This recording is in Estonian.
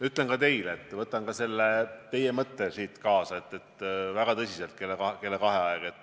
Ütlen ka teile, et võtan selle mõtte siit kella kahesele istungile kaasa.